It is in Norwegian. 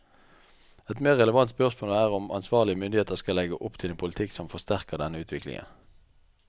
Et mer relevant spørsmål er om ansvarlige myndigheter skal legge opp til en politikk som forsterker denne utviklingen.